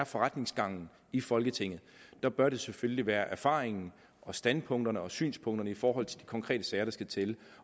forretningsgangen i folketinget er bør det selvfølgelig være erfaringen og standpunkterne og synspunkterne i forhold til de konkrete sager der skal til